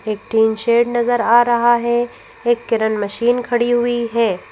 एक tin shed नजर आ रहा है एक किरण मशीन खड़ी हुई है।